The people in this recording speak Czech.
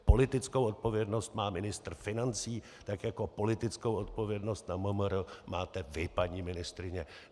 Politickou odpovědnost má ministr financí, tak jako politickou odpovědnost na MMR máte vy, paní ministryně.